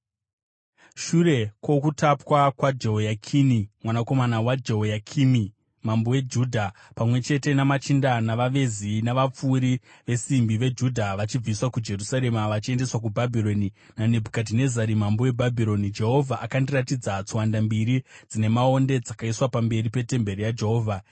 Shure kwokutapwa kwaJehoyakini mwanakomana waJehoyakimi mambo weJudha pamwe chete namachinda, navavezi, navapfuri vesimbi veJudha vachibviswa kuJerusarema vachiendeswa kuBhabhironi naNebhukadhinezari mambo weBhabhironi, Jehovha akandiratidza tswanda mbiri dzine maonde dzakaiswa pamberi petemberi yaJehovha.